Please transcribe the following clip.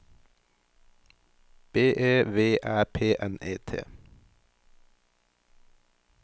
B E V Æ P N E T